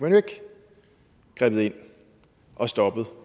grebet ind og stoppet